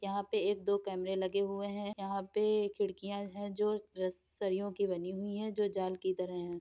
यहाँ पे एक दो कैमरे लगे हुए हैं। यहाँ पे खिड़कियां है जो रसरियों की बनी हुई है जो जाल की तरह है।